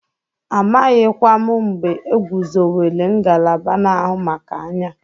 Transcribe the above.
Amaghịkwa m mgbe egwuzowere ngalaba na-ahụ maka anya.